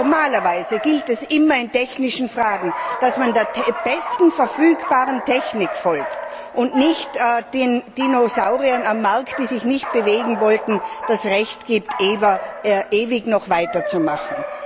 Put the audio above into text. Normalerweise gilt es in technischen Fragen immer, dass man der besten verfügbaren Technik folgt und nicht den Dinosauriern am Markt, die sich nicht bewegen wollten, das Recht gibt, ewig weiterzumachen.